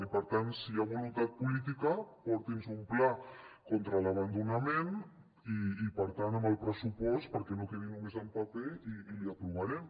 i per tant si hi ha voluntat política porti’ns un pla contra l’abandonament i per tant amb el pressupost perquè no quedi només en paper i l’hi aprovarem